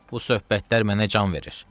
Bu söhbətlər mənə can verir.